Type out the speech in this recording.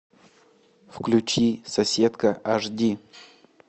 включи соседка аш ди